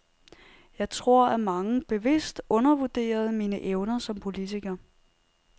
Jeg tror, at mange bevidst undervurderede mine evner som politiker.